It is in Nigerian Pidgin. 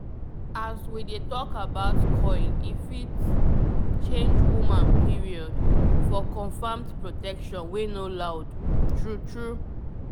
as we dey talk about coil e fit change woman period -for confirmed protection wey no loud. true true small pause